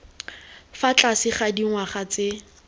fa tlase ga dingwaga tse